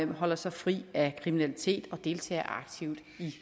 holder sig fri af kriminalitet og deltager aktivt i